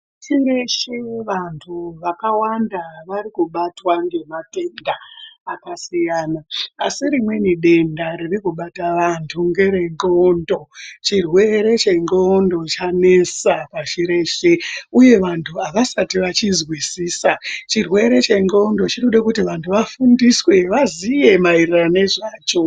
Pasi reshe vantu vakawanda varikubatwa ngematenda akasiyana asi rimweni denda ririkubata vantu ngere ndxondo , chirwere chendxando chanesa pashi reshe uye vantu avasati vachizwisisa chirwere chendxando chinode kuti vantu vafundiswe vaziye maererano nezvecho.